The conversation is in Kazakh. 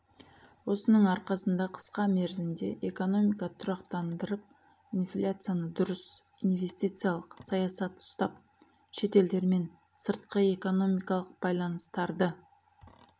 осының арқасында қысқа мерзімде экономиканы тұрақтындырып инфляцияны дұрыс инвестициялық саясат ұстап шетелдермен сыртқы экономикалық байланыстарды